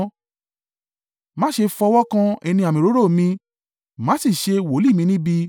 “Má ṣe fọwọ́ kan ẹni àmì òróró mi; má sì ṣe wòlíì mi níbi.”